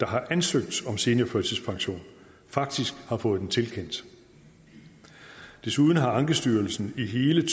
har ansøgt om seniorførtidspension faktisk har fået den tilkendt desuden har ankestyrelsen i hele